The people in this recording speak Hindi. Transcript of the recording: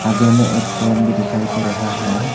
आगे में एक ट्रेन भी दिखाई दे रहा है।